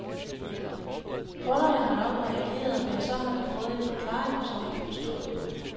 Kunderne har nok reageret, men så har de fået en forklaring, og så har de forstået det.